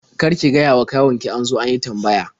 Kar ki gayawa kawun ki an zo an yi tambaya.